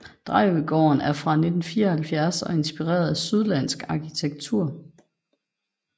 Drejøgården er fra 1974 og er inspireret af sydlandsk arkitektur